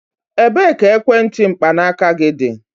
Ebee ka ekwentị mkpanaaka gị dị?